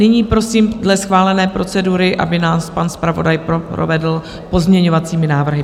Nyní prosím dle schválené procedury, aby nás pan zpravodaj provedl pozměňovacími návrhy.